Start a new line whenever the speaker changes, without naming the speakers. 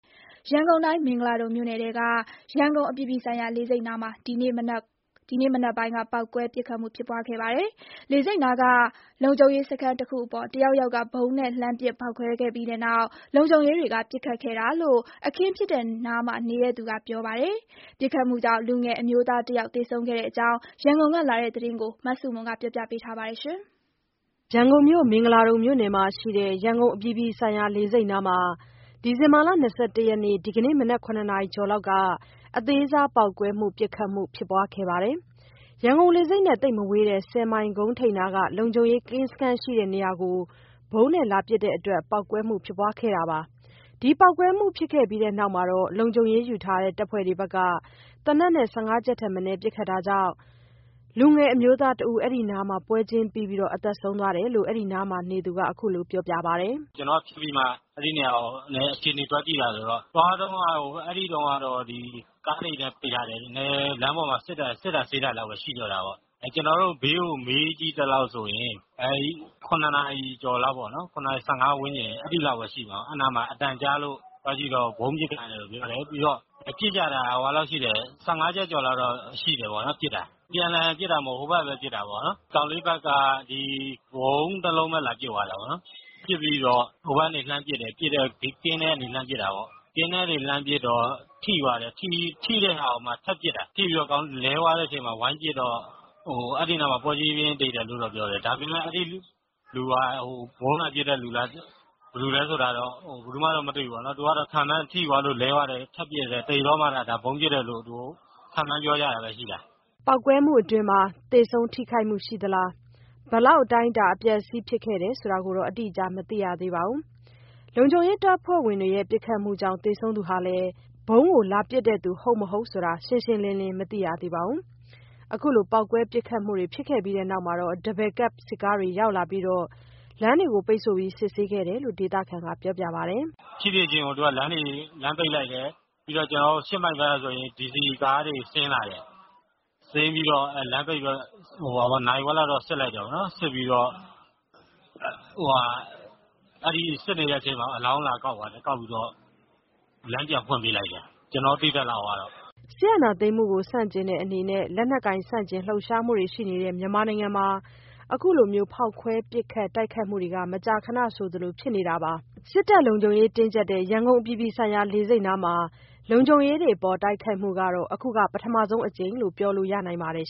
ရန်ကုန်တိုင်း မင်္ဂလာဒုံမြို့နယ်ထဲက ရန်ကုန်အပြည်ပြည်ဆိုင်ရာလေဆိပ်နားမှာ ဒီနေ့မနက်ပိုင်းက ပေါက်ကွဲ၊ ပစ်ခတ်မှုဖြစ်ပွားခဲ့ပါတယ်။ လေဆိပ်နားက လုံခြုံရေးစခန်းတခုအပေါ်တယောက်ယောက်က ဗုံးနဲ့ လှမ်းပစ် ဖေါက်ခွဲခဲ့ပြီးနောက် လုံခြုံရေးတွေက ပစ်ခတ်ခဲ့တာလို့ အခင်းဖြစ်တဲ့နားမှာနေသူက ပြောပါတယ်။ ပစ်ခတ်မှုကြောင့် လူငယ်အမျိုးသားတယောက်သေဆုံးခဲ့တဲ့အကြောင်း ရန်ကုန်ကလာတဲ့သတင်းကိုမဆုမွန်က တင်ပြပေးထားပါတယ်။
ရန်ကုန်မြို့၊ မင်္ဂလာဒုံမြို့နယ်ထဲမှာရှိတဲ့ ရန်ကုန်အပြည်ပြည်ဆိုင်ရာလေဆိပ်နားမှာ ဒီဇင်ဘာ ၂၁ ရက် ဒီနေ့ မနက် ၇ နာရီကျော်လောက်က အသေးစားပေါက်ကွဲမှု၊ ပစ်ခတ်မှုတွေ ဖြစ်ပွားခဲ့ပါတယ်။ ရန်ကုန်လေဆိပ်နဲ့မဝေးတဲ့ ဆယ်မိုင်ကုန်းထိပ်နားက လုံခြုံရေးကင်းစခန်းရှိရာကို ဗုံးလာပစ်တဲ့အတွက် ပေါက်ကွဲမှုဖြစ်ပွားခဲ့ပါတယ်။ ပေါက်ကွဲမှုဖြစ်ခဲ့ပြီးနောက် လုံခြုံရေးယူထားတဲ့ တပ်ဖွဲ့ဝင်တွေဘက်က သေနတ်နဲ့ ၁၅ ချက်ထက်မနည်း ပစ်ခတ်တဲ့အတွက် လူငယ်အမျိုးသားတဦး အဲ့ဒီနားမှာ ပွဲချင်းပြီး သေဆုံးသွားတယ်လို့ အဲဒီနားမှာနေသူက ခုလိုပြောပြပါတယ်။
“ကျနော်က ဖြစ်ပြီးမှ အဲ့ဒီနေရာကို အခြေအနေသွားကြည့်တယ်ဆိုတော့ သွားတုန်းက ကားတွေလည်း ပိတ်ထားတယ်။ လမ်းပေါ်မှာ စစ်တာဆေးတာလောက်ပဲ ရှိတော့တာ။ ဘေးကို မေးကြည့်သလောက်ဆိုရင် အဲ့ ၇ နာရီကျော်လောက်ပေါ့။ ၇ နာရီ ၁၅ ဝန်းကျင် အဲ့ဒီလောက်ပဲရှိမှာပေါ့။ အဲ့ဒီနားမှာ အသံကြားလို့ သွားကြည့်တော့ ဗုံးပစ်သံလို့ ပြောတယ်။ ပြီးတော့ ပစ်ကြတာ ၁၅ ချက်ကျော်လောက်တော့ ရှိတယ်ပေါ့နော် ပစ်တာ။ အပြန်အလှန်ပစ်တာ မဟုတ်ဘူး။ ဟိုဘက်ကပဲ ပစ်တာပေ့ါနော်။ ကောင်လေးဘက်က ဒီ ဗုံးတစ်လုံးပဲ လာပစ်သွားတယ်ပေါ့နော်။ ပစ်ပြီးတော့ ဟိုဘက်ကနေ လှမ်းပစ်တယ်၊ ကင်းထဲကနေ လှမ်းပစ်တာပေါ့။ ကင်းထဲကနေ လှမ်းပစ်တော့ ထိသွားတယ်၊ ထိတဲ့ဟာကိုမှ ထပ်ပစ်တာ။ ထိပြီးတော့ ကောင်လေးလဲသွားတဲ့အချိန်မှာ ဝိုင်းပစ်တော့ အဲ့နားမှာ ပွဲချင်းပြီး သေတယ်လို့တော့ ပြောတယ်။ ဒါပေမယ့် အဲ့လူက ဗုံးလာပစ်တဲ့ လူလား၊ ဘယ်သူလဲဆိုတာ ဘယ်သူမှတော့ မတွေ့ဘူးပေါ့နော်။ သူကတော့ ထိသွားတော့ လဲသွားတော့ ထပ်ပစ်တယ်၊ သေတော့မှ ဒါဗုံးပစ်တယ်လို့ သူတို့ ခန့်မှန်းပြောကြတာပဲရှိတာ။
” ပေါက်ကွဲမှုအတွင်း သေဆုံးထိခိုက်မှုရှိသလား၊ ဘယ်လောက် အတိုင်းအတာ အပျက်အစီး ဖြစ်ခဲ့တယ်ဆိုတာ အတိအကျ မသိရသေးပါဘူး။ လုံခြုံရေးတပ်ဖွဲ့ဝင်တွေရဲ့ ပစ်ခတ်မှုကြောင့် သေဆုံးသူဟာလည်း ဗုံးလာပစ်တဲ့ သူဟုတ် မဟုတ် ရှင်းရှင်းလင်းလင်း မသိရသေးပါဘူး။ ခုလို ပေါက်ကွဲပစ်ခတ်မှုတွေဖြစ်ခဲ့ပြီးနောက် Double cab စစ်ကားတွေရောက်လာပြီး လမ်းပိတ်စစ်ဆေးခဲ့တယ်လို့ ဒေသခံက ပြောပါတယ်
။ “ဖြစ်ဖြစ်ခြင်းကို လမ်းပိတ်လိုက်တယ်၊ ပြီးတော့ ကျနော်တို့ ၈ မိုင်ဘက်ကဆိုရင် DC ကားတွေ ဆင်းလာတယ်။ ဆင်းပြီးတော့ လမ်းပိတ်ပြီးတော့ နာရီဝက်လောက်တော့ စစ်လိုက်တယ်ပေ့ါနော်။ အဲ့ဒီစစ်နေတဲ့အချိန်မှာပဲ အလောင်းလာကောက်သွားတယ်။ ကောက်ပြီးတော့ လမ်းပြန်ဖွင့်ပေးလိုက်တယ်၊ ကျနော်တို့ သိသလောက်ကတော့။
” စစ်အာဏာသိမ်းမှုကို ဆန့်ကျင်တဲ့အနေနဲ့ လက်နက်ကိုင် ဆန့်ကျင်လှုပ်ရှားမှုတွေရှိနေတဲ့ မြန်မာနိုင်ငံမှာ ခုလို ဖေါက်ကွဲ ပစ်ခတ်တိုက်ခိုက်မှုတွေ မကြာခဏဆိုသလိုဖြစ်နေပါတယ်။ စစ်တပ်လုံခြုံရေး တင်းကြပ်တဲ့ ရန်ကုန်အပြည်ပြည်ဆိုင်ရာ လေဆိပ်နားမှာ လုံခြုံရေးတွေအပေါ် တိုက်ခိုက်မှုကတော့ အခုပထမဆုံးအကြိမ်လို့ ပြောလို့ရနိုင်ပါတယ်